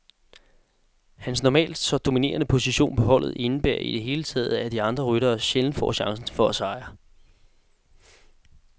Hans normalt så dominerende position på holdet indebærer i det hele taget, at de andre ryttere sjældent får chancen for at sejre.